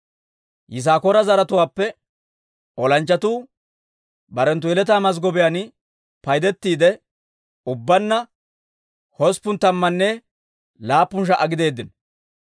Yisaakoora zaratuwaappe olanchchatuu barenttu yeletaa mazggobiyaan paydettiide, ubbaanna hosppun tammanne laappun sha"a gideeddino.